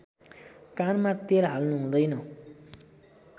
कानमा तेल हाल्नु हुँदैन